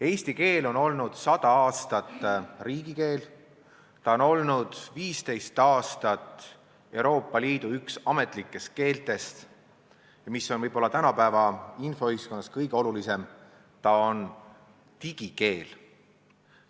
Eesti keel on olnud 100 aastat riigikeel, ta on olnud 15 aastat Euroopa Liidu üks ametlikest keeltest ja, mis on võib-olla tänapäeva infoühiskonnas kõige olulisem, ta on digikeel.